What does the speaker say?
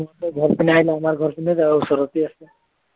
বিস্ময় হঁতৰ ঘৰৰ পিনে আহিলে আমাৰ ঘৰৰ পিনে যাব ওচৰতে আছে